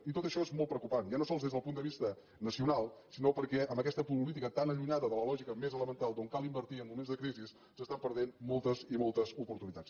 i tot això és molt preocupant ja no sols des del punt de vista nacional sinó perquè amb aquesta política tan allunyada de la lògica més elemental quan cal invertir en moments de crisi s’estan perdent moltes i moltes oportunitats